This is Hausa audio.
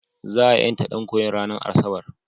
Za a ƴanta ɗan koyon ranar Asabar.